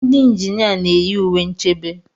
Ndị injinia na-eyi uwe nchebe.